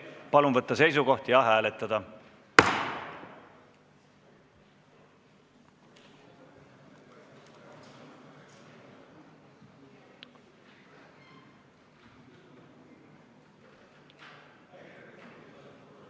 Palun võtta seisukoht ja hääletada!